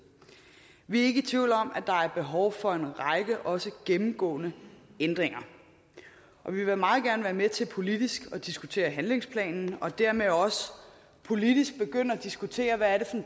vi er ikke tvivl om at der er behov for en række også gennemgribende ændringer og vi vil meget gerne være med til politisk at diskutere handlingsplanen og dermed også politisk begynde at diskutere hvad det er